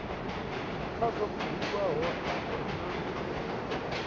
kha zwo buliwaho afho nha